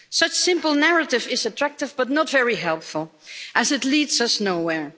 Such a simple narrative is attractive but not very helpful, as it leads us nowhere.